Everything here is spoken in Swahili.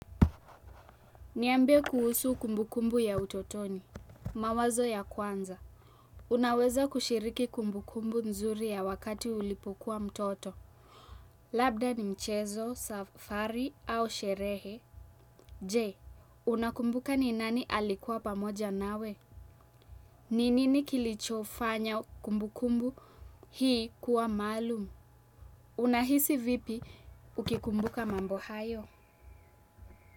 Niambie kuhusu kumbukumbu ya utotoni, mawazo ya kwanza. Unaweza kushiriki kumbukumbu nzuri ya wakati ulipokuwa mtoto. Labda ni mchezo, safari au sherehe. J, unakumbuka ni nani alikuwa pamoja nawe? Ni nini kilicho fanya kumbukumbu hii kuwa maalum? Unahisi vipi ukikumbuka mambo hayo?